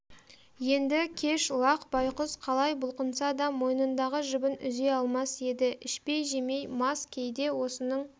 енді кеш лақ байқұс қалай бұлқынса да мойнындағы жібін үзе алмас еді ішпей-жемей мас кейде осының